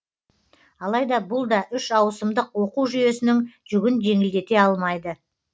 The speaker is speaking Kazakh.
алайда бұл да үш ауысымдық оқу жүйесінің жүгін жеңілдете алмайды